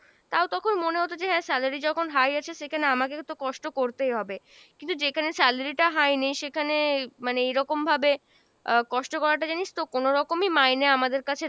তাও তখন মনে হতো যে হ্যাঁ salary যখন high আছে সেখানে আমাকে তো কষ্ট করতেই হবে, কিন্তু যেখানে salary টা high নেই সেখানে মানে এইরকম ভাবে আহ কষ্ট করাটা জানিস তো কোনোরকমই মাইনে আমদের কাছে,